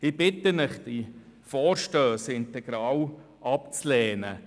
Ich bitte Sie, diese Vorstösse integral abzulehnen.